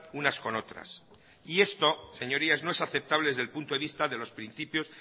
unas con otras y esto señorías no es aceptable desde el punto de vista de los principios